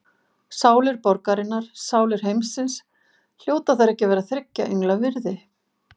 Sálir borgarinnar, sálir heimsins, hljóta þær ekki að vera þriggja engla virði?